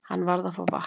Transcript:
Hann varð að fá vatn.